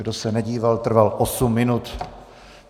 Kdo se nedíval, trval osm minut.